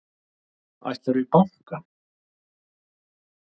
Ætlarðu í bankann?